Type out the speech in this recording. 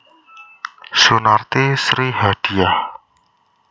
Sunarti Sri Hadiyah